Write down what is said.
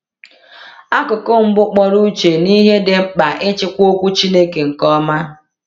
Akụkụ mbụ kpọrọ uche n’ihe dị mkpa ịchịkwa Okwu Chineke nke ọma.